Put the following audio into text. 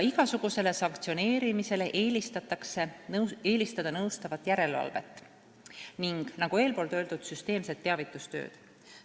Igasugusele sanktsioneerimisele eelistatakse nõustavat järelevalvet ja, nagu eespool öeldud, süsteemset teavitustööd.